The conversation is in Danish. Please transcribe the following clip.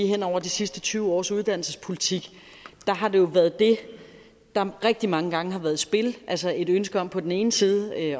hen over de sidste tyve års uddannelsespolitik har været det der rigtig mange gange har været i spil altså et ønske om på den ene side at